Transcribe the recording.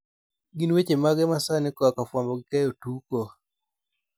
gin weche mage ma sani koa kafwambo gi keyo tuko